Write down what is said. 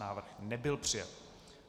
Návrh nebyl přijat.